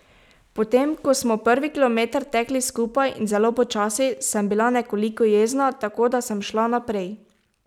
Potem ko smo prvi kilometer tekli skupaj in zelo počasi, sem bila nekoliko jezna, tako da sem šla naprej.